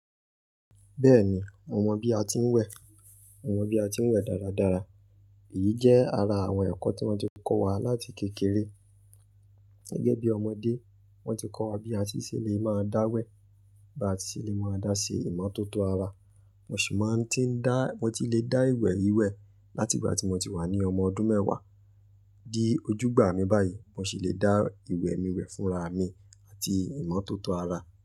Bẹ́ẹ̀ni, mo mọ bí a ti ń wẹ̀, mo mọ bí a ti ń wẹ̀ dáradára. Èyí jẹ́ ara àwọn ẹ̀kọ́ tí wọ́n ti kọ́ wa láti kékeré. Gẹ́gẹ́ bí ọmọdé, wọ́n ti kọ́ wa bí a ṣe lè máa dá wẹ̀, bí a ṣe lè máa dá ṣe ìmọ́tótó ara. Mo sì máa ń ti dá, mo ti lè dá ìwẹ̀ wìwẹ̀ láti ìgbà tí mo ti wà ní ọmọ ọdún mẹ́wàá di ojúgbà mi báyìí. Mo sì lè dá ìwẹ̀ mi wẹ̀ fúnra mi àti ìmọ́tótó ara.